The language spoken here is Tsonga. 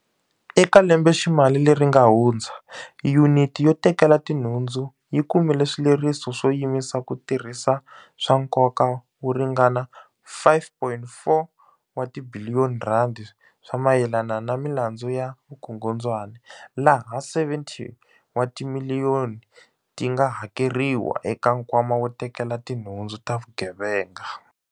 Eka lembeximali leri nga hundza, Yuniti yo Tekela Tinhundzu yi kume swileriso swo yimisa ku tirhisa swa nkoka wo ringana R5.4 wa tibiliyoni swa mayelana na milandzu ya vukungundzwana, laha R70 wa timiliyoni ti nga hakeriwa eka Nkwama wo Tekela Tinhundzu ta Vugevenga.